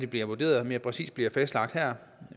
bliver vurderet mere præcist bliver fastlagt her